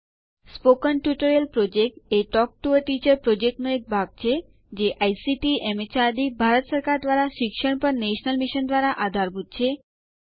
મૌખિક ટ્યુટોરીયલ યોજના એ ટોક ટુ અ ટીચર યોજનાનો ભાગ છે જે આઇસીટીએમએચઆરડીભારત સરકાર દ્વારા શિક્ષણ પર નેશનલ મિશન દ્વારા આધારભૂત છે